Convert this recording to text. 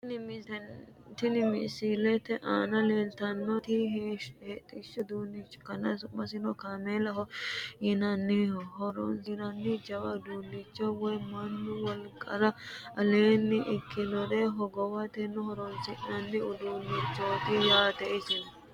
Tinni misilete aanna la'neemoti hodhishu uduunicho ikkanna su'masino kaameellaho yinnanni horosino jawa uduunicho woyi Manu wolqara aleenni ikinore hogowate horoonsi'nanni hudhishu uduunichoti.